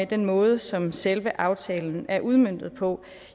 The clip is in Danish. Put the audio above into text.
den måde som selve aftalen er udmøntet på